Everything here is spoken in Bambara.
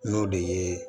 N'o de ye